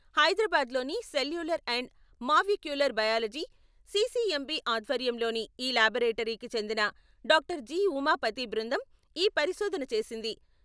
హైదరాబాదులోని Cellular and Molecular Biology CCMB ఆధ్వర్యంలోని ఈ లాబొరేటరీకి చెందిన డాక్టర్ జి.ఉమాపతి బృందం ఈ పరిశోధన చేసింది.